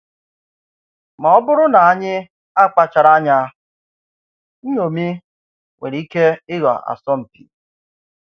Ma ọ̀ bụrụ ná ànyị akpachàrà ányá, nṅomí nwèrè ike ị̀ghọ̀ asọmpi.